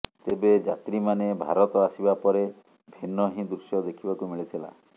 ତେବେ ଯାତ୍ରୀମାନେ ଭାରତ ଆସିବା ପରେ ଭିନ୍ନ ହିଁ ଦୃଶ୍ୟ ଦେଖିବାକୁ ମିଳିଥିଲା